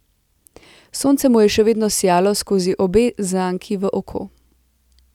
Sonce mu je še vedno sijalo skozi obe zanki v oko.